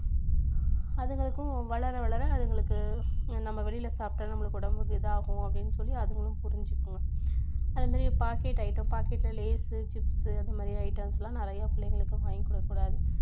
அதுங்களுக்கும் வளர வளர அதுங்களுக்கு நம்ம வெளியில சாப்பிட்டா நம்மளுக்கு உடம்புக்கு இதாகும் அப்படின்னு சொல்லி அதுங்களும் புரிஞ்சிக்குங்க அதே மாதிரி packet item, packet ல லேஸ் chips இந்த மாதிரி items லாம் நிறைய பிள்ளைங்களுக்கு வாங்கி கொடுக்கக்கூடாது